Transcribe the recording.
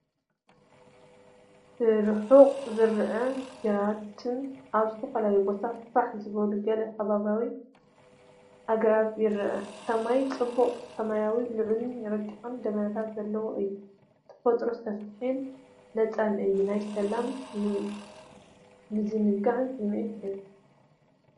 ብርሑቕ ዝረአ ግራትን ኣብ ዝተፈላለየ ቦታታት ፋሕ ዝበሉ ገለ ከባብያዊ ኣግራብን ይርአ። ሰማይ ጽቡቕ ሰማያዊ ፣ ልዑልን ረቂቕን ደበናታት ዘለዎ እዩ። ተፈጥሮ ሰፊሕን ነጻን እዩ። ናይ ሰላምን ምዝንጋዕን ስምዒት ይህብ፡፡